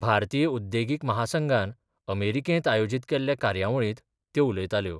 भारतीय उद्देगीक महासंघान अमेरिकेंत आयोजीत केल्ल्या कार्यावळींत त्यो उलयताल्यो.